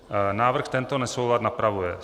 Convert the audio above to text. Návrh tento nesoulad napravuje.